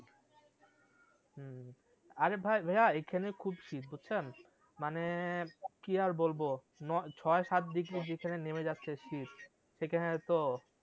আরে ভাই ভাইয়া এখানে খুব শীত বুঝছেন মানে কি আর বলবো, নয় ছয় সাত নেমে যাচ্ছে শীত সেখানে তো